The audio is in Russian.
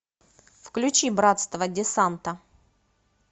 включи братство десанта